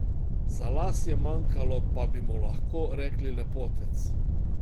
Za las je manjkalo, pa bi mu lahko rekli lepotec.